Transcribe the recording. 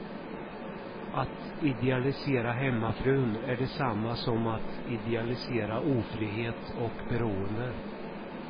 Att idealisera hemmafrun är detsamma som att idealisera ofrihet och beroende.